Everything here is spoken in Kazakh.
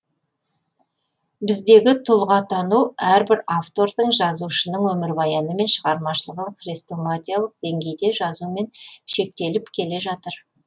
біздегі тұлғатану әрбір автордың жазушының өмірбаяны мен шығармашылығын хрестоматиялық деңгейде жазумен шектеліп келе жатыр